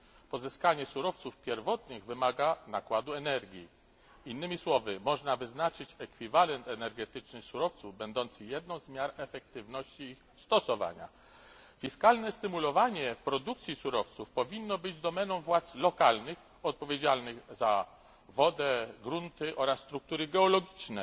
Pozyskanie surowców pierwotnych wymaga nakładu energii innymi słowy, można wyznaczyć ekwiwalent energetyczny surowców, będący jedną z miar efektywności ich stosowania. Fiskalne stymulowanie produkcji surowców powinno być domeną władz lokalnych, odpowiedzialnych za wodę, grunty oraz struktury geologiczne.